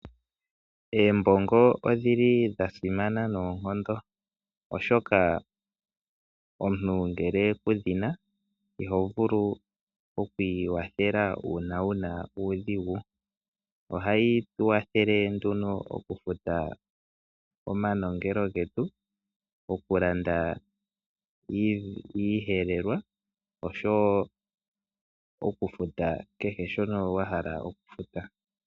Eembongo odhili dha simana noonkondo oshoka omuntu ngele ku dhina iho vulu oku ikwathela uuna wuna uudhigu ohayi kwathele nduno okufuta omanongelo getu okulanda iihelelwa oshowo okufuta kehe shono wa hala okulanda.